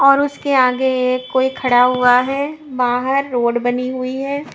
और उसके आगे एक कोई खड़ा हुआ है बाहर रोड बनी हुई है।